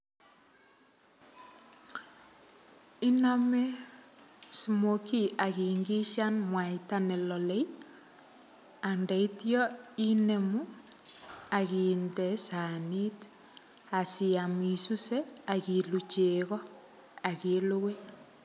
[pauseI]name smokie akiingishan mwaita nelale. Andeityo inemu akinde sanit asiam isuse akiluu chego. Akilugui.